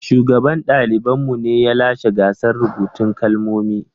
Shugaban ɗaliban mu ne ya lashe gasar rubutun kalmomi.